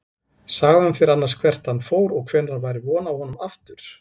Sagði hann þér annars hvert hann fór og hvenær væri von á honum aftur?